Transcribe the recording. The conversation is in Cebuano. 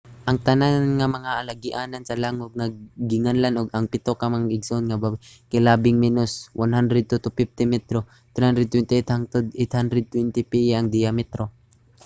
ang tanan nga mga alagianan sa langub nga ginganlan og ang pito ka mag-igsoon nga babaye kay labing menos 100 to 250 metro 328 hangtod 820 piye ang diametro